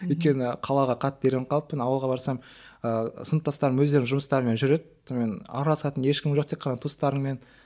өйткені қалаға қатты үйреніп қалыппын ауылға барсам ыыы сыныптастарым өздерінің жұмыстарымен жүреді сонымен араласатын ешкім жоқ тек қана туыстарыңмен